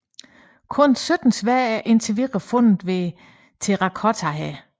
Kun 17 sværd er indtil videre fundet ved Terrakottahæren